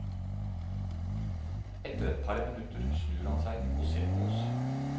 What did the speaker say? Etter et par minutter snur han seg og ser på oss.